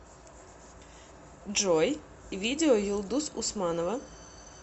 джой видео юлдуз усманова